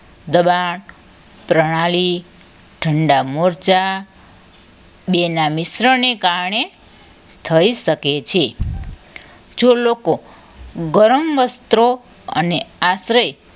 દબાન પ્રણાલી ઠંડા મોરચા બે ના મિશ્રણ ને કારણે થઈ શકે છે જો લોકો ગરમ વસ્ત્રો અને આશરે